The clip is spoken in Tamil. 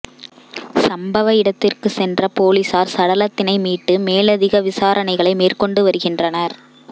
சம்பவ இடத்திற்கு சென்ற பொலிசார் சடலத்தினை மீட்டு மேலதிக விசாரணைகளை மேற்கொண்டு வருகின்றனர்